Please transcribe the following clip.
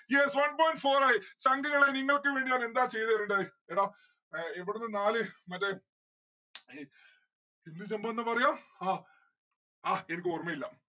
yes one point four ആയി. ചുങ്ക് കളെ നിങ്ങൾക്ക് വേണ്ടി ഞാൻ എന്താ ചെയ്തെരണ്ടത് എടാ ഏർ ഇവിടന്ന് നാല് മറ്റേ എന്നിട്ടെന്ത് ന്ന പറയാ ഹാ എനിക്കോർമില്ല